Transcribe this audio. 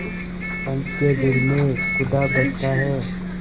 पंच के दिल में खुदा बसता है